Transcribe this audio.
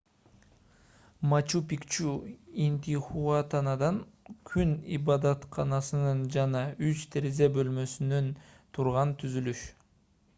мачу-пикчу интихуатанадан күн ибадатканасынан жана үч терезе бөлмөсүнөн турган түзүлүш